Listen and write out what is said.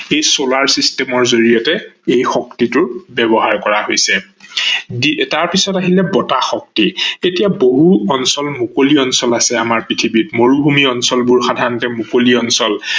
এই solar system ৰ জৰিয়তে এই শক্তিটো ব্যৱহাৰ কৰা হৈছে, তাৰ পিছত আহিলে বতাহ শক্তি, এতিয়া বহু অঞ্চল মুকলি অঞ্চল আছে আমাৰ পৃথিৱীত মৰুভূমি অঞ্চলবোৰ সাধাৰনতে মুকলি অঞ্চল।